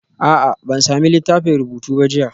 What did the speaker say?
A'a, ban sami littafin rubutu ba jiya